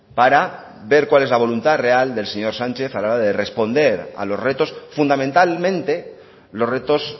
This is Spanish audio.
para ver cuál es la voluntad real del señor sánchez a la hora de responder a los retos fundamentalmente los retos